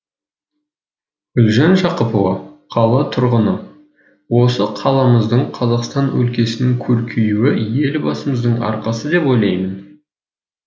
гүлжан жақыпова қала тұрғыны осы қаламыздың қазақстан өлкесінің көркеюі елбасымыздың арқасы деп ойлаймын